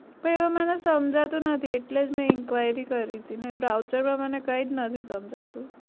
પહી હવે મને સમજાતું નથી એટલે જ મેં enquiry કરી તી ને browser માં મને કઈ જ નથી સમજાતું